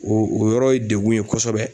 O o yɔrɔ ye degun ye kosɛbɛ